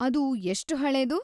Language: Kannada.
ಅದು ಎಷ್ಟ್ ಹಳೇದು?